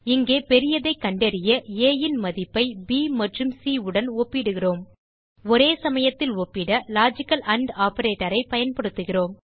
இங்கே பெரியதைக் கண்டறிய aன் மதிப்பை ப் மற்றும் சி உடன் ஒப்பிடுகிறோம் ஒரேசமயத்தில் ஒப்பிட லாஜிக்கல் ஆண்ட் operatorஐ பயன்படுத்துகிறோம்